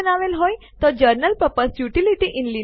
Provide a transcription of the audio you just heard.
હવે test dir directory સફળતાપૂર્વક રદ થઇ છે